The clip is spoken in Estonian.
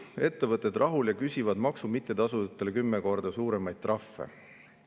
Ettevõtted rahul ja küsivad maksu mittetasujatele 10 korda suuremaid trahve".